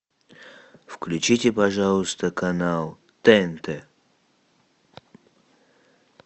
включите пожалуйста канал тнт